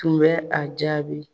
Tun bɛ a jaabi.